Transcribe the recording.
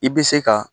I bɛ se ka